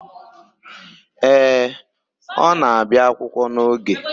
Ee, ọ na-abịa akwụkwọ n'oge.